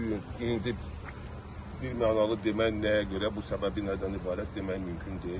Bu gün indi birmənalı demək nəyə görə, bu səbəbi nədən ibarət, demək mümkün deyil.